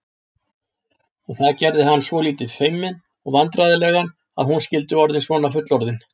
Og það gerði hann svolítið feiminn og vandræðalegan að hún skyldi orðin svona fullorðin.